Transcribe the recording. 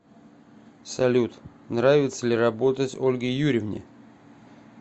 салют нравится ли работать ольге юрьевне